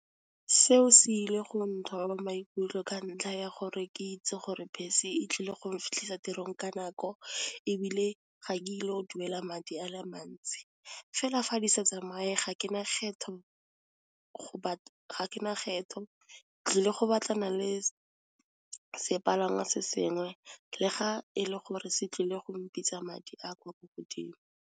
Seo se ile go nthoba maikutlo ka ntlha ya gore ke itse gore bese e tlile go nfitlhisa tirong ka nako, ebile ga ke ilo duela madi a le mantsi. Fela fa di sa tsamaye ga ke na kgetho tlile go batlana le sepalangwa se sengwe le ga e le gore se tlile go mpitsa madi a kwa ko godimo.